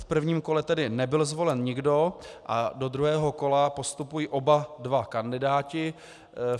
V prvním kole tedy nebyl zvolen nikdo a do druhého kola postupují oba dva kandidáti.